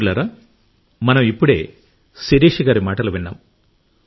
మిత్రులారా మనం ఇప్పుడే శిరీష గారి మాటలు విన్నాం